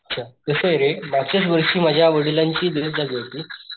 अच्छा कसंय रे मागच्याच वर्षी माझ्या वडिलांचीझाली होती.